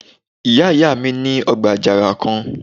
Ìyá ìyá mi ní ọgbà àjàrà kan